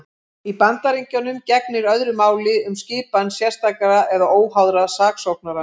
Í Bandaríkjunum gegnir öðru máli um skipan sérstakra eða óháðra saksóknara.